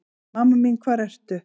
Mamma mín hvar ertu?